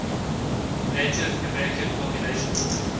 native american population